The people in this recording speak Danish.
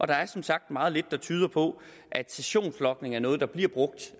der er som sagt meget lidt der tyder på at sessionslogning er noget der bliver brugt